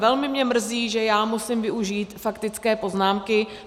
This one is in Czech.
Velmi mě mrzí, že já musím využít faktické poznámky.